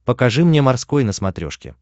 покажи мне морской на смотрешке